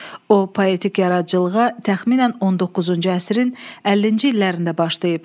O, poetik yaradıcılığa təxminən 19-cu əsrin 50-ci illərində başlayıb.